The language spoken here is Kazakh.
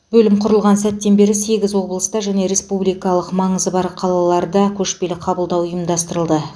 бөлім құрылған сәттен бері сегіз облыста және республикалық маңызы бар қалаларда көшпелі қабылдау ұйымдастырылды